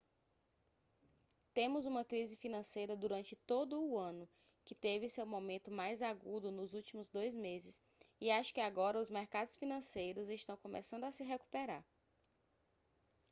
temos uma crise financeira durante todo o ano que teve seu momento mais agudo nos últimos dois meses e acho que agora os mercados financeiros estão começando a se recuperar